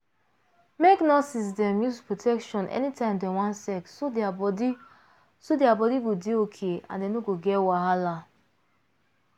make nurses dem use protection anytime dem wan sex so dem body so dem body go dey okay and dem no go get wahala.